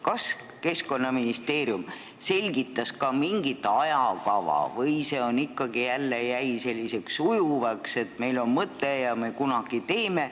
Kas Keskkonnaministeerium selgitas ka mingit ajakava või jäi see ikkagi selliseks ujuvaks, et meil on mõte ja me kunagi teeme?